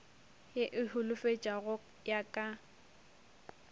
ye e holofetšago ya ka